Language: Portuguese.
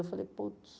Eu falei, putz,